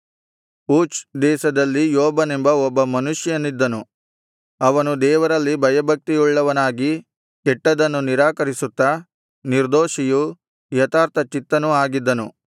ಊಚ್ ದೇಶದಲ್ಲಿ ಯೋಬನೆಂಬ ಒಬ್ಬ ಮನುಷ್ಯನಿದ್ದನು ಅವನು ದೇವರಲ್ಲಿ ಭಯಭಕ್ತಿಯುಳ್ಳವನಾಗಿ ಕೆಟ್ಟದ್ದನ್ನು ನಿರಾಕರಿಸುತ್ತಾ ನಿರ್ದೋಷಿಯೂ ಯಥಾರ್ಥಚಿತ್ತನೂ ಆಗಿದ್ದನು